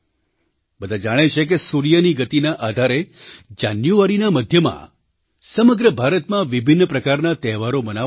બધાં જાણે છે કે સૂર્યની ગતિના આધારે જાન્યુઆરીના મધ્યમાં સમગ્ર ભારતમાં વિભિન્ન પ્રકારના તહેવારો મનાવાશે